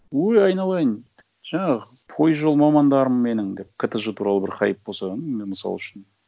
ой айналайын жаңағы пойызжол мамандарым менің деп ктж туралы бір хайп болса ну мен мысал үшін